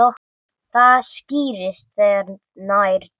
Það skýrist þegar nær dregur.